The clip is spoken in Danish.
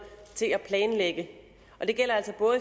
til at planlægge det gælder